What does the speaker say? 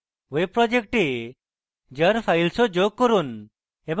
web project jar files যোগ করুন এবং